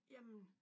Jamen!